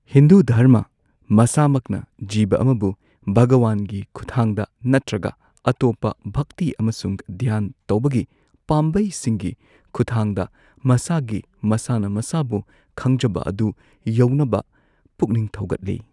ꯍꯤꯟꯗꯨ ꯙꯔꯃ ꯃꯁꯥꯃꯛꯅ ꯖꯤꯕ ꯑꯃꯕꯨ ꯚꯒꯋꯥꯟꯒꯤ ꯈꯨꯠꯊꯥꯡꯗ ꯅꯠꯇ꯭ꯔꯒ ꯑꯇꯣꯞꯄ ꯚꯛꯇꯤ ꯑꯃꯁꯨꯡ ꯙ꯭ꯌꯥꯟ ꯇꯧꯕꯒꯤ ꯄꯥꯝꯕꯩꯁꯤꯡꯒꯤ ꯈꯨꯠꯊꯥꯡꯗ ꯃꯁꯥꯒꯤ ꯃꯁꯥꯅ ꯃꯁꯥꯕꯨ ꯈꯪꯖꯕ ꯑꯗꯨ ꯌꯧꯅꯕ ꯄꯨꯛꯅꯤꯡ ꯊꯧꯒꯠꯂꯤ꯫